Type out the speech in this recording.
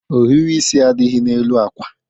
Ohiri isi adịghị n'elu akwa